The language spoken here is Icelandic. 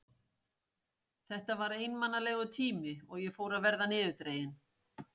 Þetta var einmanalegur tími og ég fór að verða niðurdregin.